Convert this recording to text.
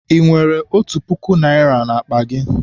I nwere otu puku naịra n'akpa gị?